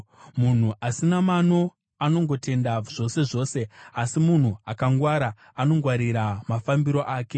Munhu asina mano anongotenda zvose zvose, asi munhu akangwara anongwarira mafambiro ake.